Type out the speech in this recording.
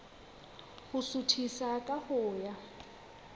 ho suthisa ka ho ya